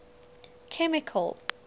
chemical